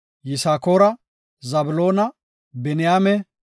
Yisakoora, Zabloona, Biniyaame,